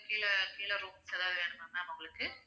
கீழ கீழ rooms எதாவது வேணுமா ma'am உங்களுக்கு